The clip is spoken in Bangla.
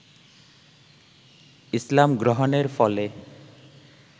ইসলাম গ্রহণের ফলে